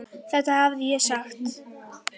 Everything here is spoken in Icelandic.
Þetta hefði ég sagt.